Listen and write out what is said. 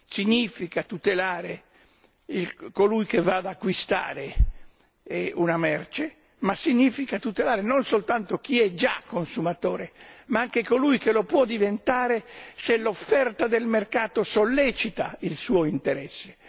Significa tutelare colui che va ad acquistare una merce, ma significa tutelare non soltanto chi è già consumatore, ma anche colui che lo può diventare se l'offerta del mercato sollecita il suo interesse.